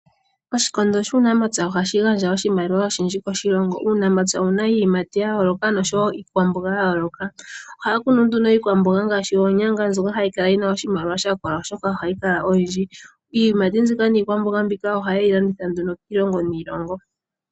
Oshikondo shuunamapya ohashi gandja oshimaliwa oshindji koshilongo. Uunamapya owuna iiyimati ya yooloka oshowo iikwamboga ya yooloka. Ohaya kunu nduno iikwamboga ngaashi oonyanga mbyoka hayi kala yina oshimaliwa shakola oshoka ohayi kala oyindji. Iiyimati mbika niikwamboga mbika ohayeyi landitha nduno kiilongo niilongo.